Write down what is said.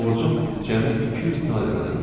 borcum cəmi 200 taler ödənilmişdi.